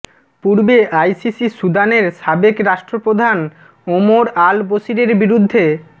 পূর্বে আইসিসি সুদানের সাবেক রাষ্ট্রপ্রধান ওমর আল বশিরের বিরুদ্ধে